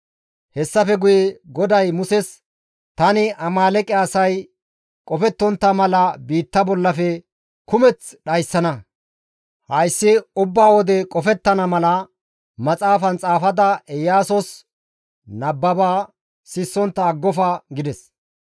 Hessafe guye GODAY Muses, «Tani Amaaleeqe asay qofettontta mala istta biitta bollafe kumeth dhayssana. Hayssi ubba wode qofettana mala maxaafan xaafada Iyaasos nababa sissontta aggofa» gides.